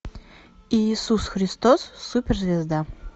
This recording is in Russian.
иисус христос суперзвезда